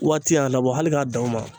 Waati y'a labɔ hali k'a dan o ma